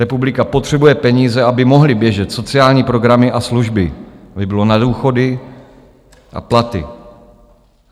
Republika potřebuje peníze, aby mohly běžet sociální programy a služby, aby bylo na důchody a platy.